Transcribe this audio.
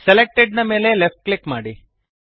selected ನ ಮೇಲೆ left click ಮಾಡಿರಿ